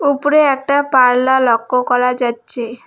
ওপরে একটা পারল্লা লক্ষ্য করা যাচ্ছে।